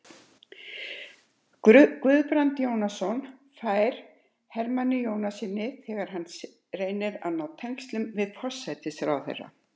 Guðbrand Jónsson færa Hermanni Jónassyni, þegar hann reyndi að ná tengslum við forsætisráðherra.